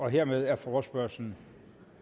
hermed er forespørgslen